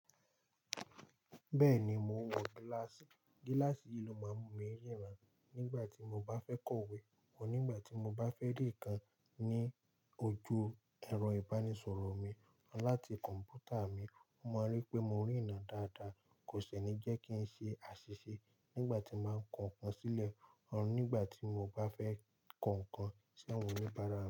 Bẹ́ẹ̀ni, mo ń wọ gíláàsì. Gíláàsì yìí ló máa ń mú mi riran nígbà tí mo bá fẹ́ kọ̀wé, nígbà tí mo bá fẹ́ ri nkan ní ojú ẹ̀rọ-ìbánisọ̀rọ̀ mi láti kọ̀m̀pútà mi, ó máa ń rí pé mo rí iná dáadáa, kò sì ní jẹ́ kí ń ṣe àṣìṣe nígbà tí màá kọ ǹkan sílẹ̀, nígbà tí mo bá fẹ́ kọ ǹkan sá wọ̀n oníbàara mi.